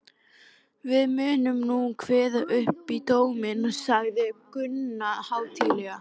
Við munum nú kveða upp dóminn, sagði Gunni hátíðlega.